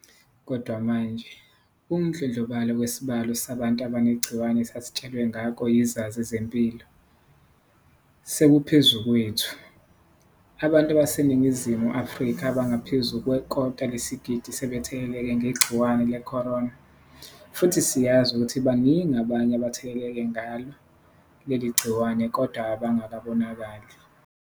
Kodwa manje, ukudlondlobala kwesibalo sabantu abanegciwane esasitshelwe ngako yizazi zezempilo, sekuphezu kwethu. Abantu baseNingizimu Afrika abangaphezu kwekota lesigidi sebetheleleke ngegciwane le-corona, futhi siyazi ukuthi baningi abanye abatheleleke ngalo leli gciwane kodwa abangabonakali.